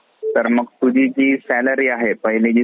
तर मग तुझी जी salary आहे पाहिली जी